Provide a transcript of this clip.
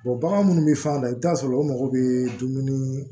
bagan minnu bɛ fɛn na i bɛ t'a sɔrɔ o mago bɛ dumuni